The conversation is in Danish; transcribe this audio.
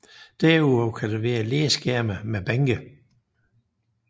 Derudover kan der være læskærme med bænke